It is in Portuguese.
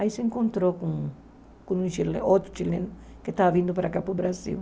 Aí se encontrou com um outro chileno que estava vindo para cá, para o Brasil.